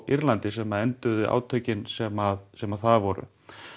Írlandi sem enduðu átökin sem sem þar voru